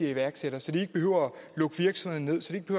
i iværksættere så de ikke behøver at lukke virksomheden